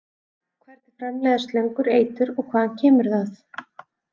Hvernig framleiða slöngur eitur og hvaðan kemur það?